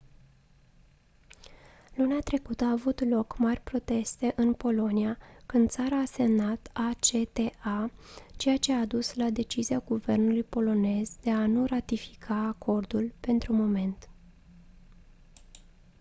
luna trecută au avut loc mari proteste în polonia când țara a semnat acta ceea ce a dus la decizia guvernului polonez de a nu ratifica acordul pentru moment